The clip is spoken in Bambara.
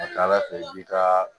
A ka ca ala fɛ i b'i ka